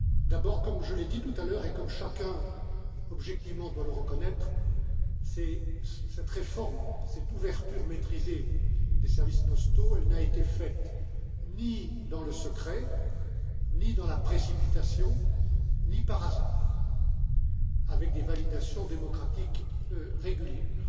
D'abord, comme je l'ai dit tout à l'heure et comme chacun, objectivement, doit le reconnaître, cette réforme, cette ouverture maîtrisée des services postaux, n'a été faite ni dans le secret, ni dans la précipitation, ni par hasard, mais avec des validations démocratiques régulières